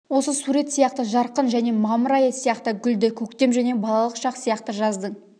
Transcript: осы сурет сияқты жарқын және мамыр айы сияқты гүлді көктем және балалық шақ сияқты жаздың